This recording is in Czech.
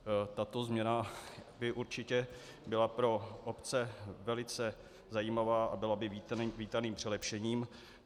Tato změna by určitě byla pro obce velice zajímavá a byla by vítaným přilepšením.